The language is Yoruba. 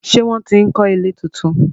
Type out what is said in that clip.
ṣe wón tí ń kò ilé títún.